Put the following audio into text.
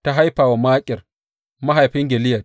Ta haifa wa Makir mahaifin Gileyad.